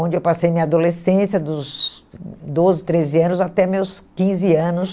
onde eu passei minha adolescência dos doze, treze anos até meus quinze anos.